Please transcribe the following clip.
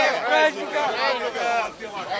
Bayramla!